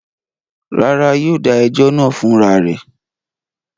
Rárá, yóò dà ẹjọ́ náà fún ra rẹ̀.